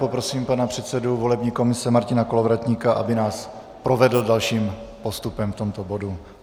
Poprosím pana předsedu volební komise Martina Kolovratníka, aby nás provedl dalším postupem v tomto bodu.